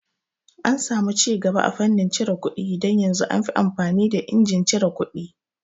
An samu cigaba a fannin cire kuɗi don yanzun anfi amfani da injin cire kuɗi